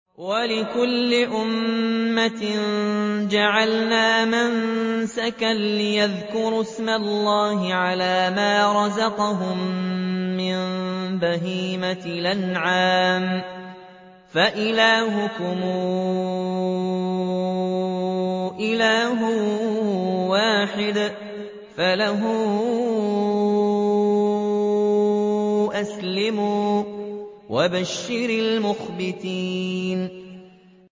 وَلِكُلِّ أُمَّةٍ جَعَلْنَا مَنسَكًا لِّيَذْكُرُوا اسْمَ اللَّهِ عَلَىٰ مَا رَزَقَهُم مِّن بَهِيمَةِ الْأَنْعَامِ ۗ فَإِلَٰهُكُمْ إِلَٰهٌ وَاحِدٌ فَلَهُ أَسْلِمُوا ۗ وَبَشِّرِ الْمُخْبِتِينَ